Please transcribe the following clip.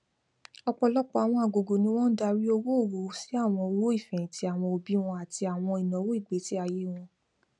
ọpọlọpọ àwọn àgògò ni wọn ń darí owóòwò sí àwọn owó ìfẹhìntì àwọn òbí wọn àti àwọn ináwó ìgbésíayé wọn